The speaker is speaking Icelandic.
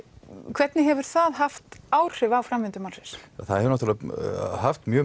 hvernig hefur það haft áhrif á framvindu málsins það hefur náttúrlega haft mjög